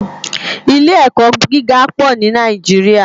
Ilé èkò gigá pò ni Nàijiriá